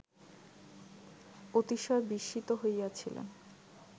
অতিশয় বিস্মিত হইয়াছিলেন